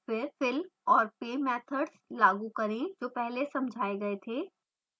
फिर fill और pay methods लागू करें जो पहले समझाये गए थे